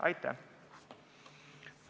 Aitäh!